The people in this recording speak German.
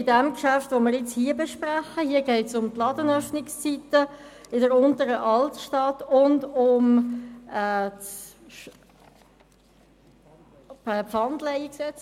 Unter diesem Traktandum geht es um die Ladenöffnungszeiten in der Unteren Altstadt und um Pfandleihgeschäfte.